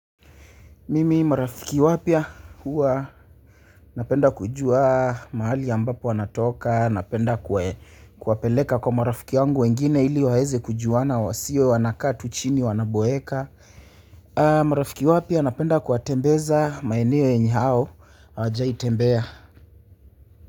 Mimi marafiki wapya huwa napenda kujua mahali ambapo wanatoka napenda kuwapeleka kwa marafiki yangu wengine ili waeze kujuana wasio wanakaa tu chini wanaboeka marafiki wapya napenda kuwatembeza maeneo yenye hao hawajai tembea.